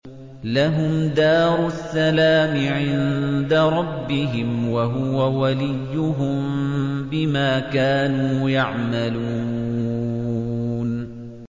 ۞ لَهُمْ دَارُ السَّلَامِ عِندَ رَبِّهِمْ ۖ وَهُوَ وَلِيُّهُم بِمَا كَانُوا يَعْمَلُونَ